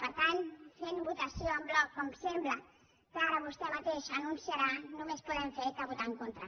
per tant fent votació en bloc com sembla que ara vostè mateix anunciarà només podem fer que votar hi en contra